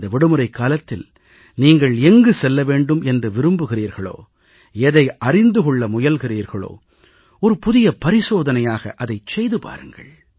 இந்த விடுமுறைக்காலத்தில் நீங்கள் எங்கு செல்ல வேண்டும் என்று விரும்புகிறீர்களோ எதை அறிந்து கொள்ள முயல்கிறீர்களோ ஒரு புதிய பரிசோதனையாக அதைச் செய்து பாருங்கள்